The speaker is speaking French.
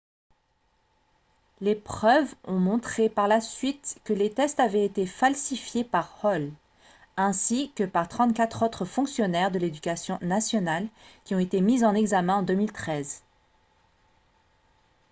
les preuves ont montré par la suite que les tests avaient été falsifiés par hall ainsi que par 34 autres fonctionnaires de l'éducation nationale qui ont été mis en examen en 2013